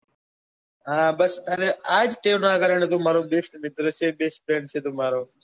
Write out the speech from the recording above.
હા બસ આજ ટેવ નાં કારણે તું મારો best મિત્ર છે best friend તું મારો